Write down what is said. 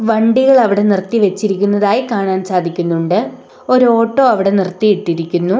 വണ്ടികൾ അവിടെ നിർത്തി വെച്ചിരിക്കുന്നതായി കാണാൻ സാധിക്കുന്നുണ്ട് ഒരു ഓട്ടോ അവിടെ നിർത്തിയിട്ടിരിക്കുന്നു.